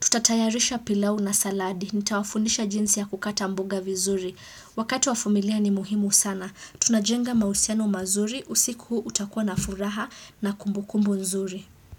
Tutatayarisha pilau na saladi, nitawafundisha jinsi ya kukata mboga vizuri. Wakati wa familia ni muhimu sana. Tunajenga mahusiano mazuri. Usiku huu utakuwa na furaha na kumbukumbu nzuri.